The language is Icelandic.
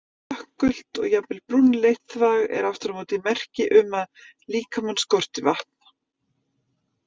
Dökkgult og jafnvel brúnleitt þvag er aftur á móti merki um að líkamann skorti vatn.